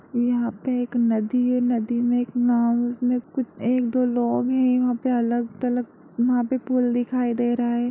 यहाँ पे एक नदी है नदी में एक नाव है उसमे कु--एक दो लोग हैं यहाँ पे अलग-तलग वहां पे पुल दिखाई दे रहा है।